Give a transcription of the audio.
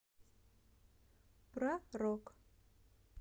про рок